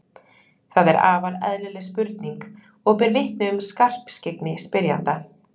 þetta er afar eðlileg spurning og ber vitni um skarpskyggni spyrjanda